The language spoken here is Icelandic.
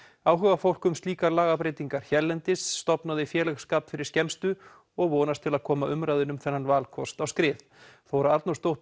áhugafólk um slíkar lagabreytingar hérlendis stofnuðu félagsskap fyrir skemmstu og vonast til að koma umræðunni um þennan valkost á skrið Þóra Arnórsdóttir